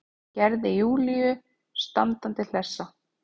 Gerði Júlíu standandi hlessa.